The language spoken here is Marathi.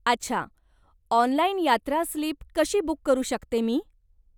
अच्छा! ऑनलाईन यात्रा स्लीप कशी बुक करू शकते मी?